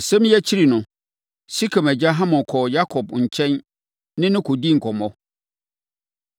Asɛm yi akyiri no, Sekem agya Hamor kɔɔ Yakob nkyɛn ne no kɔdii nkɔmmɔ.